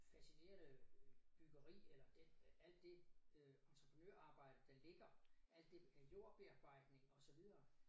Fascinerende øh byggeri eller den alt det øh entreprenørarbejde der ligger alt det jordbearbejdning og så videre